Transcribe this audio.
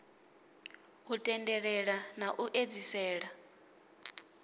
u tendelela na u edzisela